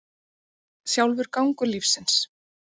Sjálfur gangur lífsins.